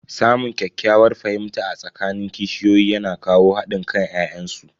Samun ƙyakkyawar fahimta a tsakanin kishiyoyi yana kawo hadin kan ya'yan su.